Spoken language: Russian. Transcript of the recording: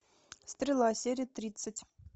стрела серия тридцать